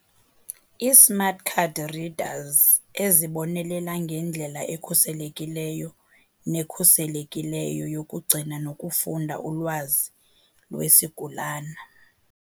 I-Smart card readers, ezibonelela ngendlela ekhuselekileyo nekhuselekileyo yokugcina nokufunda ulwazi lwesigulana.